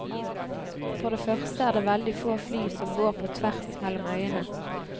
For det første er det veldig få fly som går på tvers mellom øyene.